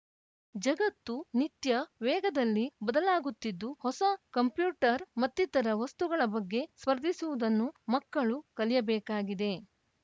ಜಗತ್ತು ನಿತ್ಯ ವೇಗದಲ್ಲಿ ಬದಲಾಗುತ್ತಿದ್ದು ಹೊಸ ಕಂಪ್ಯೂಟರ್‌ ಮತ್ತಿತರ ವಸ್ತುಗಳ ಬಗ್ಗೆ ಸ್ಪರ್ಧಿಸುವುದನ್ನು ಮಕ್ಕಳು ಕಲಿಯಬೇಕಾಗಿದೆ